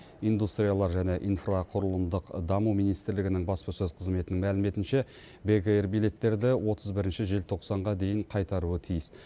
индустриялар және инфрақұрылымдық даму министрлігінің баспасөз қызметінің мәліметінше бек эйр билеттерді отыз бірінші желтоқсанға дейін қайтаруы тиіс